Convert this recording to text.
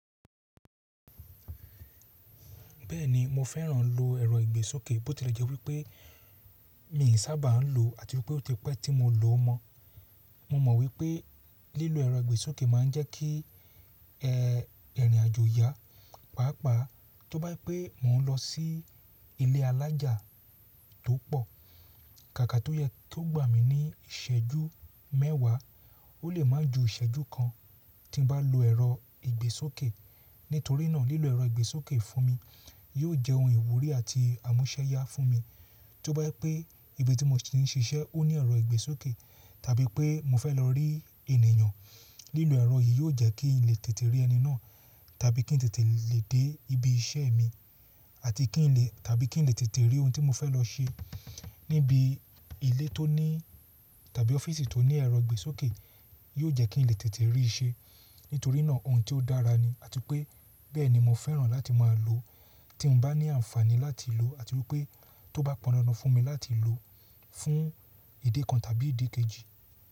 Bẹ́ẹ̀ni mo fẹ́ràn lo ẹ̀rọ ìgbésókè bó tilẹ̀ jẹ́ wípé mi sàbà ń lò àti wípé ó ti pẹ́ tí mo lò ó mọ. Mo mọ̀ wípé lílo ẹ̀rọ ìgbésókè ma ń jẹ́ kí ẹ irìnàjò yá pàápàá tó bá jépé mò ń lọ sí ilé alájà tó pọ̀, kàkà tó yẹ tó gbà mí ní ìṣẹ́jú mẹ́wàá ó lè má ju ìṣẹ́jú kan tí n bá lo ẹ̀rọ ìgbésókè. Nítorínà lílo ẹ̀rọ ìgbésókè fún mi yóò jẹ́ ohun ìwúrí àti àmúṣẹ́yá fún mi. Tó bá jé pé ibi tí mo ti ń ṣiṣẹ́ ó ní ẹ̀rọ ìgbésókè tàbí pé mo fẹ́ lọ rí ènìyàn, lílo ẹ̀rọ yìí yóò jẹ́ kí n lè tètè rí ẹni náà tàbí kí n lè tètè dé ibi iṣẹ́ mi àti kí n lè tàbí kí n lè tètè rí ohun tí mo fẹ́ lọ ṣe níbi ilé tó ní tàbí ọ́fíìsì tó ní ẹ̀rọ ìgbésókè yóò jẹ́ kí n lè tètè rí i ṣe. Nítorínà ohun tí ó dára ni àti pé bẹ́ẹ̀ ni mo fẹ́ràn láti máa lò tí n bá ní àǹfààní láti lò àti wípé tó bá pọn dandan fún mi láti lò fún ìdí kan tàbí ìdí kejì.